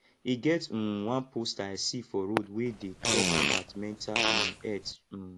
e get um one poster i see for road wey dey talk about mental um health um